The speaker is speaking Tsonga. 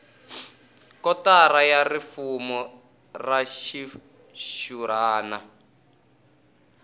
kotara ya rifumo ra xixurhana